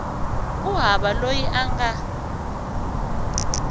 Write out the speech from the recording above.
ku hava loyi a nga